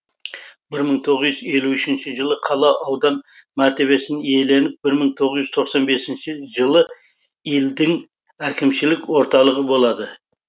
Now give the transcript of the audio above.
бір мың тоғыз жүз елу үшінші жылы қала аудан мәртебесін иеленіп бір мың тоғыз жүз тоқсан бесінші жылы илдің әкімшілік орталығы болады